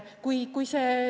Kõik.